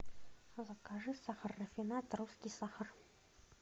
закажи сахар рафинад русский сахар